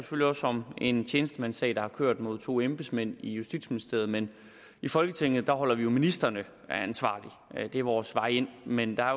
om en tjenestemandssag der har kørt mod to embedsmænd i justitsministeriet men i folketinget holder vi jo ministrene ansvarlige det er vores vej ind men der er